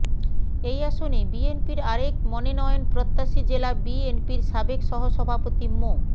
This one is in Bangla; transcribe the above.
এই আসনে বিএনপির আরেক মনেনয়ন প্রত্যাশী জেলা বিএনপির সাবেক সহসভাপতি মো